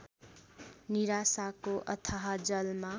निराशाको अथाह जलमा